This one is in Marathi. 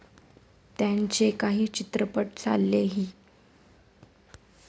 त्यांचे काही चित्रपट चाललेही.